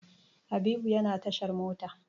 Habibu yana tashar mota.